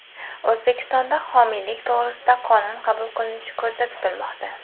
O‘zbekistonda homiylik to‘g‘risida qonun qabul qilinishi ko‘zda tutilmoqda.